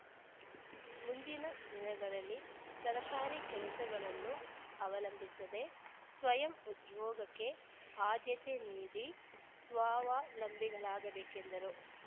ಮುಂದಿನ ದಿನಗಳಲ್ಲಿ ಸರ್ಕಾರಿ ಕೆಲಸಗಳನ್ನು ಅವಲಂಬಿಸದೆ ಸ್ವಯಂ ಉದ್ಯೋಗಕ್ಕೆ ಆದ್ಯತೆ ನೀಡಿ ಸ್ವಾವಲಂಬಿಗಳಾಗಬೇಕೆಂದರು